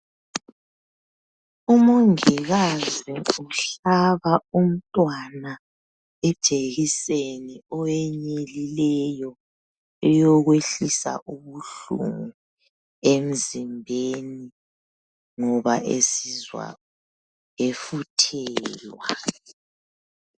Umongikazi uhlaba umntwana ijekiseni owenyelileyo eyokwehlisa ubuhlungu emzimbeni ngoba esizwa efuthelwa.